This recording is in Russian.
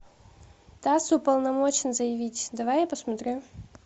тасс уполномочен заявить давай я посмотрю